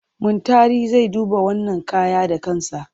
Muntari zai duba wannan kaya da kansa.